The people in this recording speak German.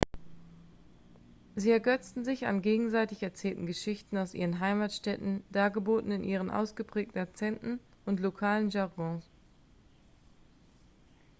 sie ergötzen sich an gegenseitig erzählten geschichten aus ihren heimatstädten dargeboten in ihren ausgeprägten akzenten und lokalen jargons